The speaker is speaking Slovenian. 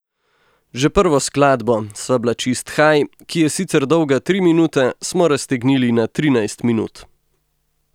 Že prvo skladbo Sva bla čist haj, ki je sicer dolga tri minute, smo raztegnili na trinajst minut.